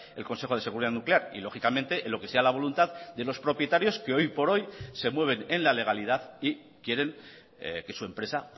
el consejo de seguridad nuclear y lógicamente en lo que sea la voluntad de los propietarios que hoy por hoy se mueven en la legalidad y quieren que su empresa